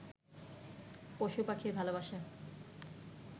পশু-পাখির ভালোবাসা